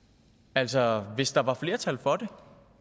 altså hvis der var flertal for det